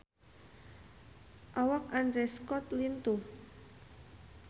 Awak Andrew Scott lintuh